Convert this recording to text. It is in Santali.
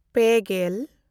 ᱯᱮᱼᱜᱮᱞ